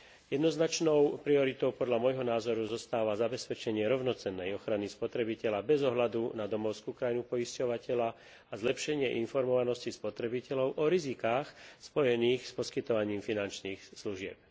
Jednoznačnou prioritou podľa môjho názoru zostáva zabezpečenie rovnocennej ochrany spotrebiteľa bez ohľadu na domovskú krajinu poisťovateľa a zlepšenie informovanosti spotrebiteľov o rizikách spojených s poskytovaním finančných služieb.